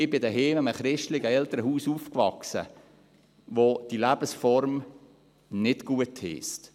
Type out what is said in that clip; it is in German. Ich bin zu Hause in einem christlichen Elternhaus aufgewachsen, das diese Lebensform nicht gutheisst.